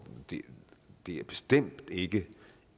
det er bestemt ikke